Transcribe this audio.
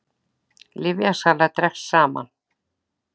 Lyfjasala dregst saman